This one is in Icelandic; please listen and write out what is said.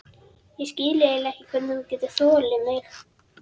Ég skil eiginlega ekki hvernig þú getur þolað mig.